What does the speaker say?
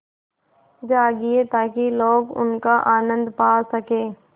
जाएगी ताकि लोग उनका आनन्द पा सकें